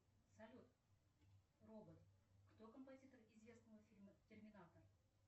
салют робот кто композитор известного фильма терминатор